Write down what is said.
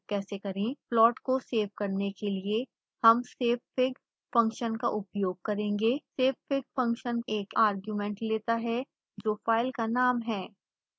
plot को save करने के लिए हम savefig फंक्शन का उपयोग करेंगे